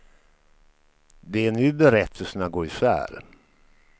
Det är nu berättelserna går isär.